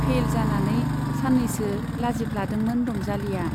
Fail जानानै सान्नैसो लाजिफ्लादोंमोन रंजालीया।